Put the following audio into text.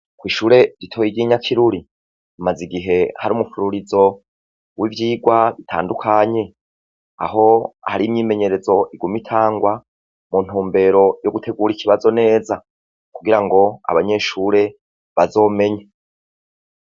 Ishure ritoya ry'i Nyakiruri hamaze igihe hari umufururizo w'ivyigwa bitandukanye aho hari imyimenyerezo iguma itangwa mu ntumbero yo gutegura ikibazo neza kugirango abanyeshure bazomenye.